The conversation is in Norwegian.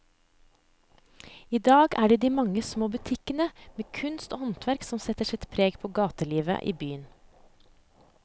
I dag er det de mange små butikkene med kunst og håndverk som setter sitt preg på gatelivet i byen.